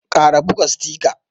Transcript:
kara ɓuga sitika.